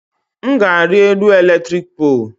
M ga-ari elu eletrik poolu